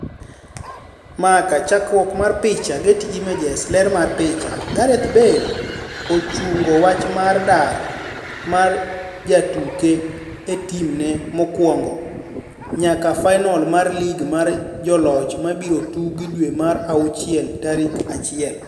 (Marca) Chakruok mar picha, Getty Images. Ler mar picha, Gareth Bale Tottenham ochungo wach mar dar mar jotuke e timne mokwongo nyaka fainol mar lig mar joloch mibiro tugi dwe mar auchiel tarik achiel.